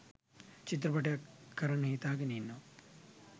චිත්‍රපටයක් කරන්න හිතාගෙන ඉන්නවා.